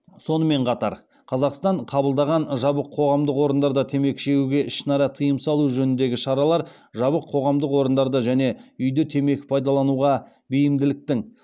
сонымен қатар қазақстан қабылдаған жабық қоғамдық орындарда темекі шегуге ішінара тыйым салу жөніндегі шаралар жабық қоғамдық орындарда және үйде темекі пайдалануға бейімділіктің